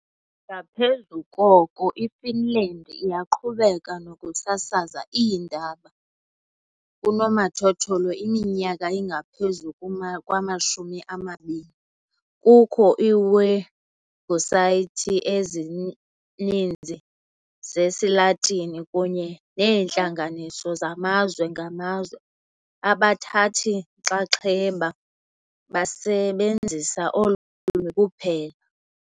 Ngaphezu koko, iFinland iyaqhubeka nokusasaza iindaba kunomathotholo iminyaka engaphezu kwamashumi amabini, kukho iiwebhusayithi ezininzi zesiLatini kunye neentlanganiso zamazwe ngamazwe, abathathi nxaxheba basebenzisa olu lwimi kuphela.